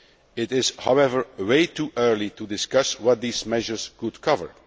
It is, however, way too early to discuss what these measures could cover.